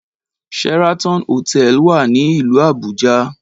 Sheraton hotel wà ní ìlú Àbújá